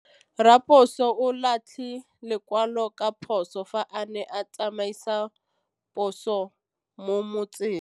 Raposo o latlhie lekwalô ka phosô fa a ne a tsamaisa poso mo motseng.